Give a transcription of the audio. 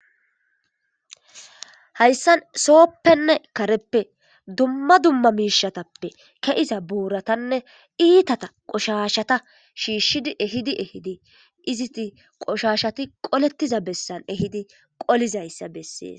Hayssan sooppenne kareppe dumma dumma miishatappe keiza buuratanne iitata qoshashata shiishshid ehidi ehidi iziti qoshashati qolettiza bessan ehidi qolizayssa bessees.